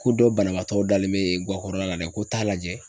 Ko dɔ banabaatɔ dalen bɛ guakɔrɔla la dɛ ko t'a lajɛ.